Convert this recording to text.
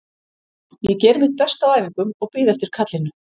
Ég geri mitt besta á æfingum og bíð eftir kallinu.